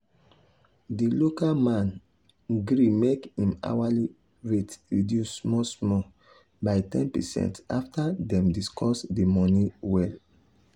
the local work man um gree make him hourly rate reduce small small by ten percent after dem discuss the money well.